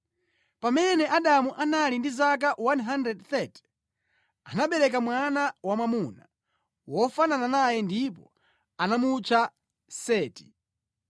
Pamene Adamu anali ndi zaka 130, anabereka mwana wamwamuna wofanana naye ndipo anamutcha Seti.